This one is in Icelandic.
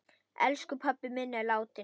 Elsku pabbi minn er látinn.